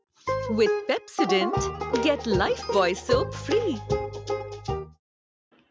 with Pepsodent get Lifebuoy soap free